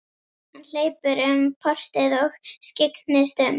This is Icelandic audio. Hann hleypur um portið og skyggnist um.